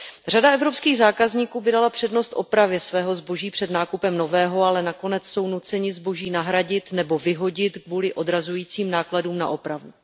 Řada evropských zákazníků by dala přednost opravě svého zboží před nákupem nového, ale nakonec jsou nuceni zboží nahradit, nebo vyhodit kvůli odrazujícím nákladům na opravu.